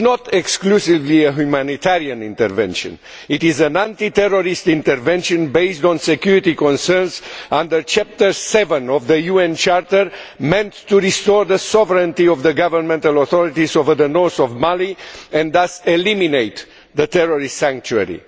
This is not exclusively a humanitarian intervention, it is an anti terrorist intervention based on security concerns under Chapter 7 of the UN Charter meant to restore the sovereignty of the government and authorities over the north of Mali and thus eliminate the terrorist sanctuary.